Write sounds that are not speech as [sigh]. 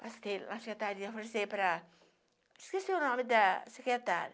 Passei na secretaria, [unintelligible] para... Esqueci o nome da secretária.